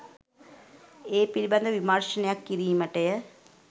ඒ පිළිබඳ විමර්ශනයක් කිරීමටය.